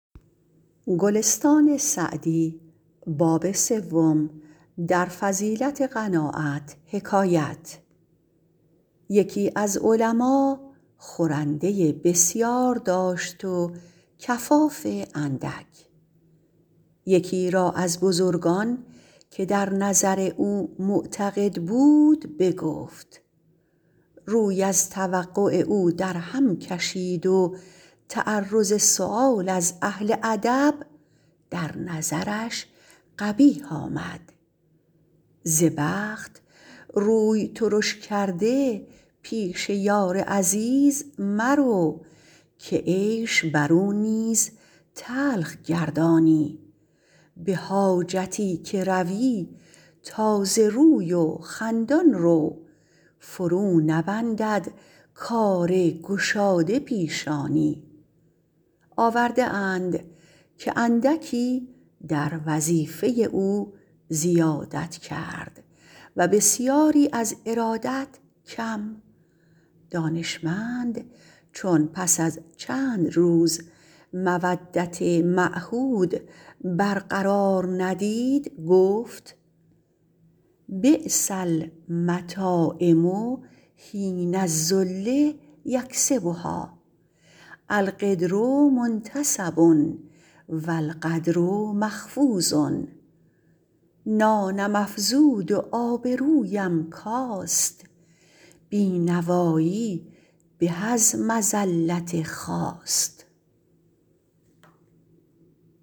یکی از علما خورنده بسیار داشت و کفاف اندک یکی را از بزرگان که در او معتقد بود بگفت روی از توقع او در هم کشید و تعرض سؤال از اهل ادب در نظرش قبیح آمد ز بخت روی ترش کرده پیش یار عزیز مرو که عیش بر او نیز تلخ گردانی به حاجتی که روی تازه روی و خندان رو فرو نبندد کار گشاده پیشانی آورده اند که اندکی در وظیفه او زیادت کرد و بسیاری از ارادت کم دانشمند چون پس از چند روز مودت معهود بر قرار ندید گفت بیس المطاعم حین الذل یکسبها القدر منتصب و القدر مخفوض نانم افزود و آبرویم کاست بینوایی به از مذلت خواست